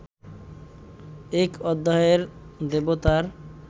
এক অধ্যায়ের দেবতার